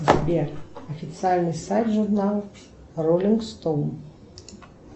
сбер официальный сайт журнала роллинг стоун